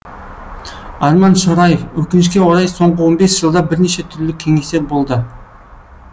арман шораев өкінішке қарай соңғы он бес жылда бірнеше түрлі кеңестер болды